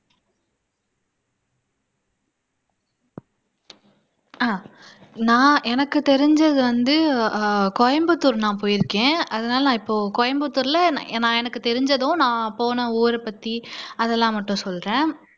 அஹ் நான் எனக்கு தெரிஞ்சது வந்து அஹ் கோயம்புத்தூர் நான் போயிருக்கேன் அதனால நான் இப்போ கோயம்புத்தூர்ல நான் எனக்கு தெரிஞ்சதும் நான் போன ஊரைப்பத்தி அதெல்லாம் மட்டும் சொல்றேன்